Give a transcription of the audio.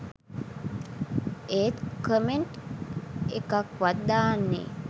ඒත් කමෙන්ට් එකක්වත් දාන්නෙ